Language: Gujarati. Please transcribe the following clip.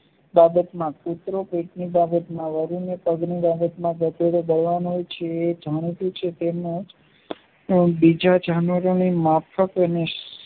બાબતમાં કૂતરો તેની બાબતમાં વરૂ ને પગની એ જાણતુ છે તેમજ બીજા જાણીતાની માફકએ